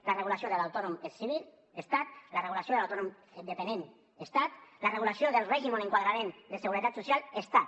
la regulació de l’autònom és civil estat la regulació de l’autònom dependent estat la regulació del règim o enquadrament de seguretat social estat